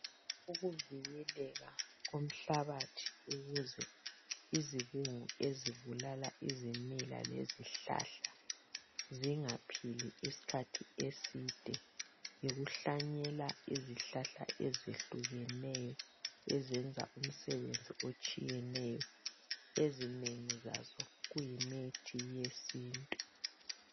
Ukuvikeleka komhlabathi ukuze izibungu ezibulala lezihlahla zingaphili isikhathi eside lokuhlanyela izihlahla ezehlukileyo ezenza umsebenzisi otshiyeneyo ezinengi zazo kuyimithi yesintu